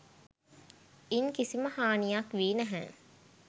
ඉන් කිසිම හානියක් වී නැහැ.